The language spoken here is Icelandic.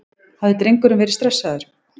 Hafði drengurinn verið stressaður?